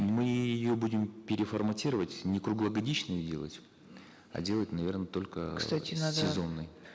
мы ее будем переформатировать не круглогодичной делать а делать наверно только кстати надо сезонной